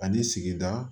Ani sigida